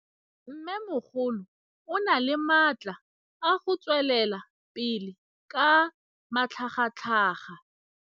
Mmêmogolo o na le matla a go tswelela pele ka matlhagatlhaga.